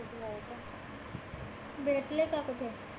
भेटले का आता ते.